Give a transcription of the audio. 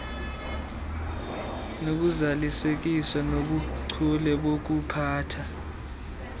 nokuzalisekiswa bobuchule bokuphatha